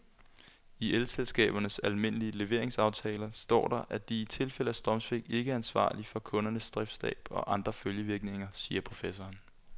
I elselskabernes almindelige leveringsaftaler står der, at de i tilfælde af strømsvigt ikke er ansvarlig for kundernes driftstab og andre følgevirkninger, siger professoren.